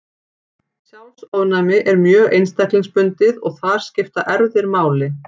Sjálfsofnæmi er mjög einstaklingsbundið og þar skipta erfðir máli.